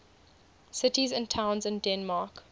cities and towns in denmark